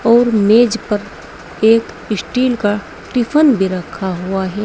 और मेज पर एक स्टील का टिफिन भी रखा हुआ है।